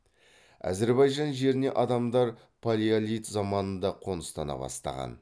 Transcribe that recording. әзірбайжан жеріне адамдар палеолит заманында қоныстана бастаған